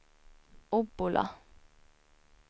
Obbola